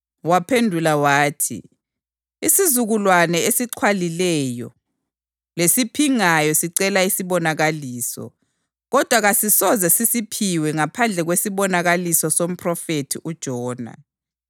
Waphendula wathi, “Isizukulwane esixhwalileyo lesiphingayo sicela isibonakaliso! Kodwa kasisoze sisiphiwe ngaphandle kwesibonakaliso somphrofethi uJona.